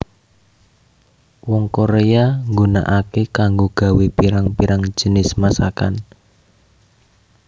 Wong Korea nggunakake kanggo gawé pirang pirang jinis masakan